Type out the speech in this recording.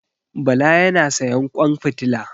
Bala ya na sayan ƙwan fitila.